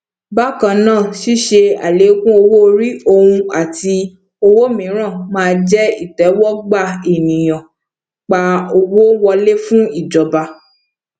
bákannáà ṣíṣe alekun owóorí ohùn àti owó míràn má jẹ itẹwọgbà ènìyàn pa owó wọlé fún ìjọba